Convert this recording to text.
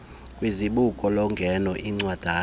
kwizibuko lokungena incwadana